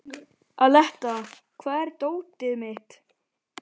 Aletta, hvar er dótið mitt?